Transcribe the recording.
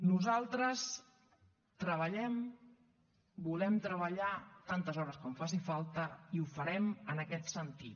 nosaltres treballem volem treballar tantes hores com faci falta i ho farem en aquest sentit